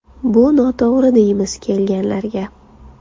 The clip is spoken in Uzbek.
Bu noto‘g‘ri deymiz kelganlarga.